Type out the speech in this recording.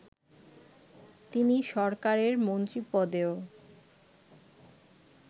তিনি সরকারের মন্ত্রীপদেও